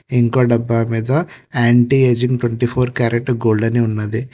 ఇంకో డబ్బా మీద anti ageing twenty four carat gold అని ఉన్నది.